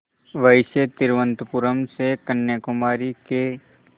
वैसे तिरुवनंतपुरम से कन्याकुमारी के